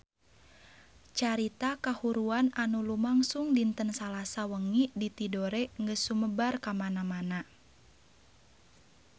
Carita kahuruan anu lumangsung dinten Salasa wengi di Tidore geus sumebar kamana-mana